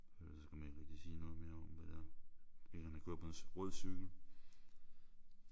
Ellers kan man ikke rigtig sige noget mere om hvad det er. Ikke at han kører på en rød cykel